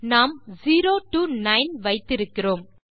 நாம் 0 டோ 9 வைத்திருக்கிறோம்